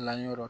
La yɔrɔ